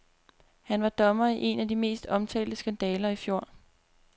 Han var dommer i en af de mest omtalte skandaler i fjor.